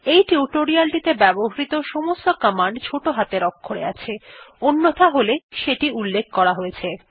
এই টিউটোরিয়ালটিতে ব্যবহৃত সমস্ত কমান্ড ছোট হাতের অক্ষরে আছে অন্যথা হলে সেটি উল্লেখ করা হয়েছে